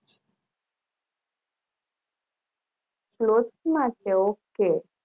Clash માં તો ok